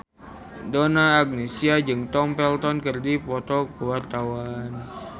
Donna Agnesia jeung Tom Felton keur dipoto ku wartawan